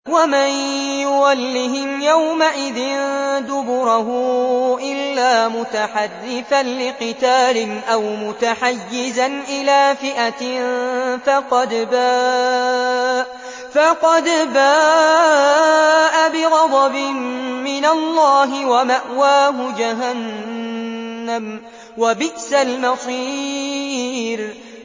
وَمَن يُوَلِّهِمْ يَوْمَئِذٍ دُبُرَهُ إِلَّا مُتَحَرِّفًا لِّقِتَالٍ أَوْ مُتَحَيِّزًا إِلَىٰ فِئَةٍ فَقَدْ بَاءَ بِغَضَبٍ مِّنَ اللَّهِ وَمَأْوَاهُ جَهَنَّمُ ۖ وَبِئْسَ الْمَصِيرُ